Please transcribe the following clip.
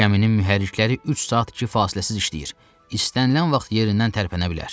Bu gəminin mühərrikləri üç saat iki fasiləsiz işləyir, istənilən vaxt yerindən tərpənə bilər.